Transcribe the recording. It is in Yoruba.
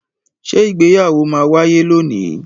Ṣé ìgbéyàwó ma wáyé lónìí?